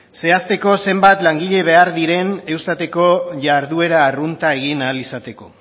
zehazteko zenbat langile behar diren eustateko jarduera arrunta egin ahal izateko